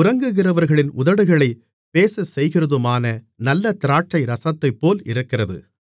உறங்குகிறவர்களின் உதடுகளைப் பேசச்செய்கிறதுமான நல்ல திராட்சைரசத்தைப்போல் இருக்கிறது மணவாளி